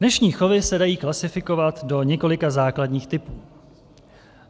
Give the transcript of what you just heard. Dnešní chovy se dají klasifikovat do několika základních typů.